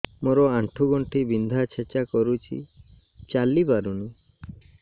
ମୋର ଆଣ୍ଠୁ ଗଣ୍ଠି ବିନ୍ଧା ଛେଚା କରୁଛି ଚାଲି ପାରୁନି